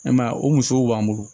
E ma ye wa o musow b'an bolo